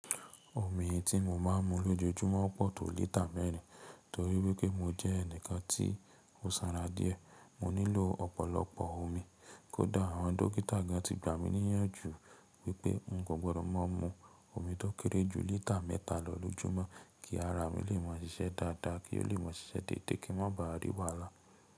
Omi tí mo máa ń mu lójoojúmọ́ pọ̀ tó lítà mẹ́rin. Torí wípé mo jẹ́ ẹnìkan tí ó sanra díẹ̀, mo nílò ọ̀pọ̀lọpọ̀ omi. Kódà àwọn dókítà gan tí gbà mí níyànjú wípé n kò gbọdọ̀ máa mu omi tó kéré jù lítà mẹ́ta lọ lójúmọ́ kí ara mi lè máa ṣiṣẹ́ dáadáa, kí ó lè máa ṣiṣẹ́ déédé kí n má ba à rí wàhálà.